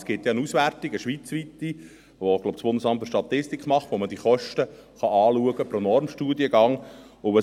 Es gibt ja eine schweizweite Auswertung, die – glaube ich – das Bundesamt für Statistik (BFS) macht, wo man diese Kosten pro Normstudiengang anschauen kann.